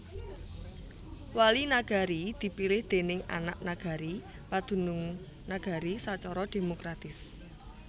Wali Nagari dipilih déning anak nagari padunung nagari sacara demokratis